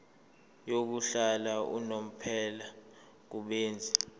yokuhlala unomphela kubenzi